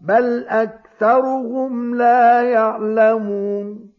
بَلْ أَكْثَرُهُمْ لَا يَعْلَمُونَ